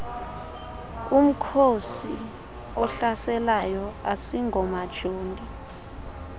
umkhosi ohlaselayo asingomajoni